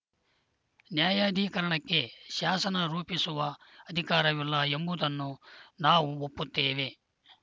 ನ್ಯಾಯಾಧಿಕರಣಕ್ಕೆ ಶಾಸನ ರೂಪಿಸುವ ಅಧಿಕಾರವಿಲ್ಲ ಎಂಬುದನ್ನು ನಾವು ಒಪ್ಪುತ್ತೇವೆ